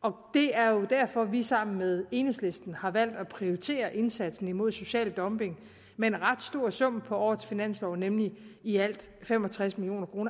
og det er jo derfor vi sammen med enhedslisten har valgt at prioritere indsatsen imod social dumping med en ret stor sum på årets finanslov nemlig i alt fem og tres million kroner